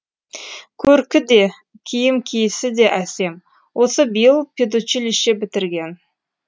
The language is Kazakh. көркі де киім киісі де әсем осы биыл педучилище бітірген